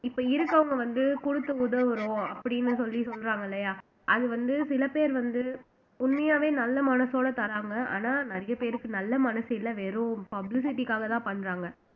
இப்ப இருக்கவங்க வந்து குடுத்து உதவுறோம் அப்படின்னு சொல்லி சொல்றாங்க இல்லையா அது வந்து சில பேர் வந்து உண்மையாவே நல்ல மனசோட தராங்க ஆனா நிறைய பேருக்கு நல்ல மனசு இல்ல வெறும் publicity க்காகதான் பண்றாங்க